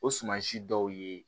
O suman si dɔw ye